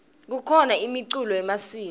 kukhona imiculo yemasiko